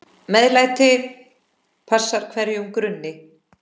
MEÐLÆTI passar hverjum grunni.